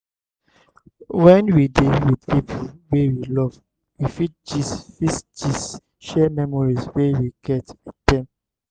when we dey with pipo wey we love we fit gist fit gist share memories wey we get with them